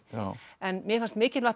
en mér fannst mikilvægt